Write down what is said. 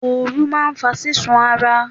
Ooru máa ń fa ṣíṣú ara.